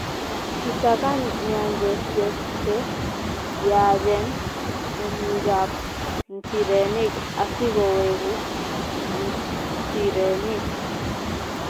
Kisakan nyanjesiek che yaachen romikab nchirenik asikoweku nchirenik.